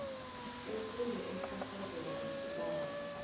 ufunde umhlahlandlela wesibawo